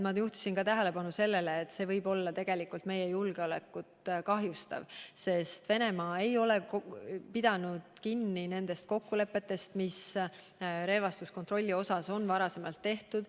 Ma juhtisin tähelepanu sellele, et see võib meie julgeolekut kahjustada, sest Venemaa ei ole pidanud kinni kokkulepetest, mis relvastuskontrolli kohta on varem tehtud.